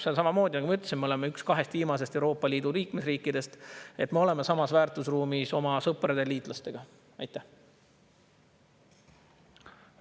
Seal samamoodi – nagu ma ütlesin, me oleme üks kahest viimasest Euroopa Liidu liikmesriigist, –,, et me oleme samas väärtusruumis oma sõprade ja liitlastega.